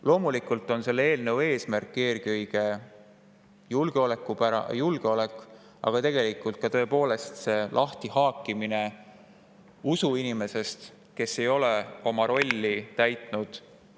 Loomulikult on selle eelnõu eesmärk eelkõige julgeolek, aga tegelikult tõepoolest see lahtihaakimine usuinimesest, kes ei ole oma rolli täitnud …